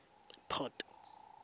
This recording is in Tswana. port